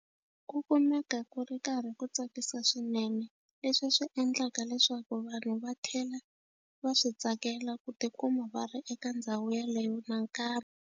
Ku kumeka ku ri karhi ku tsakisa swinene leswi swi endlaka leswaku vanhu va tlhela va swi tsakela ku tikuma va ri eka ndhawu yeleyo nakambe.